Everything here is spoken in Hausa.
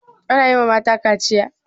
Ana yi ma mata kaciya?